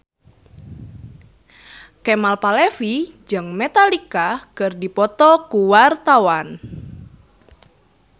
Kemal Palevi jeung Metallica keur dipoto ku wartawan